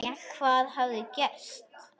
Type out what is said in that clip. Hvað hafði gerst?